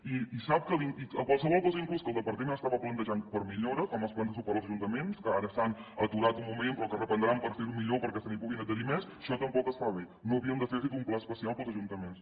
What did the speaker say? i sap que qualsevol cosa inclús que el departament estava plantejant per a millora com els plans de suport als ajuntaments que ara s’han aturat un moment però que es reprendran per fer ho millor perquè se n’hi puguin adherir més això tampoc es fa bé no havíem d’haver fet un pla especial per als ajuntaments